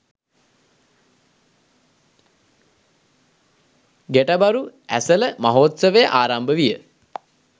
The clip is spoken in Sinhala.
ගැටබරු ඇසළ මහෝත්සවය ආරම්භ විය